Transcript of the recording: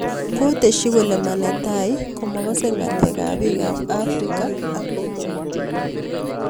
Koteshi kole ma netai komakasei ngaleek ab piik ab afrika amerika